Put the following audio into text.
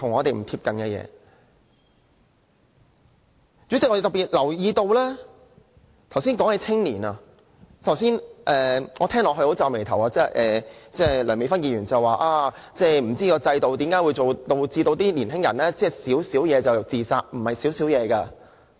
代理主席，我特別留意到剛才有議員談及青年問題，我聽到皺眉，梁美芬議員說不知道為何制度會導致年輕人"小小事"便自殺。